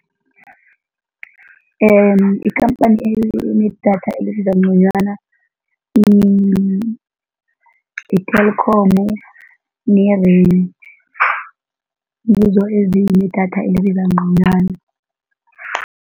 Ikhamphani enedatha elibiza ngconywana yi-Telkom ne-Rain, ngizo ezinedatha elibiza ngconywana.